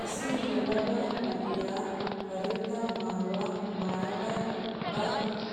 Issi yelaga na'iyaa karetta maayuwaa maayada ba